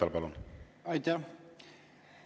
Aitäh!